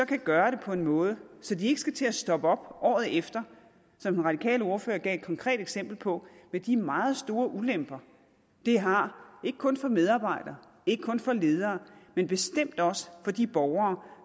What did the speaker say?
gøre det på en måde så de ikke skal til at stoppe op året efter som den radikale ordfører gav et konkret eksempel på med de meget store ulemper det har ikke kun for medarbejdere ikke kun for ledere men bestemt også for de borgere